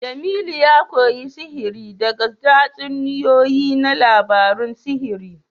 Jemilu ya koyi sihiri daga tatsuniyoyi na labarun sihiri